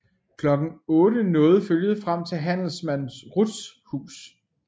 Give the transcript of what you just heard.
Kl 8 nåede følget frem til handelsmand Ruths hus